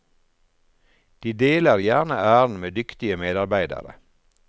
De deler gjerne æren med dyktige medarbeidere.